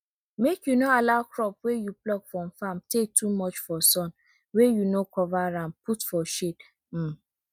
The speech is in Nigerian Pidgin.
make you no allow crop wey you pluck from farm tey too much for sun wey you no cover am put for shade um